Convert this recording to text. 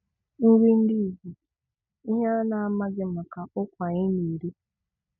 Nri ndị Igbo: Ihe ị na-amaghị maka ụkwa anyị na-eri